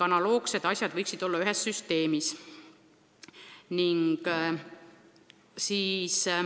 Analoogsed asjad võiksid kuuluda ühe süsteemi alla.